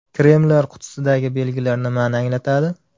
Kremlar qutisidagi belgilar nimani anglatadi?.